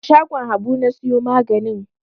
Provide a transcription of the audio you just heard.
A shagon Habu na siyo maganin.